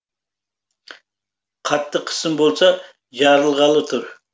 қатты қысым болса жарылғалы тұр